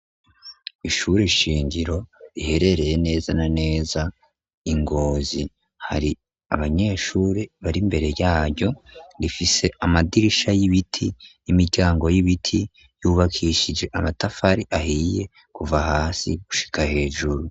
Ko ishure ishingiro riherereye neza na neza ingozi hari abanyeshure bari mbere yayo rifise amadirisha y'ibiti imiryango y'ibiti yubakishije amatafari ahiye kuva hasi gushika hejuru.